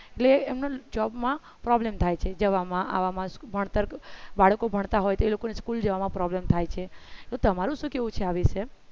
એટલે એમના job માં problem થાય છે જવામાં આવવામાં ભણતર બાળકો ભણતા હોય તે લોકોને school જવામાં problem થાય છે તો તમારું શું કહેવું છે આ વિષે